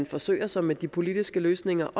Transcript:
forsøger sig med de politiske løsninger